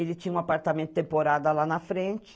Ele tinha um apartamento temporada lá na frente.